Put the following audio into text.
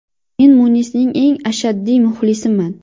Men Munisning eng ashaddiy muxlisiman!